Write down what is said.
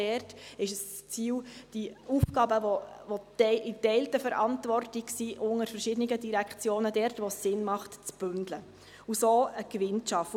Auch dort ist das Ziel, die Aufgaben, die in geteilter Verantwortung und unter verschiedenen Direktionen sind, zu bündeln – dort, wo es Sinn macht – und so einen Gewinn zu schaffen.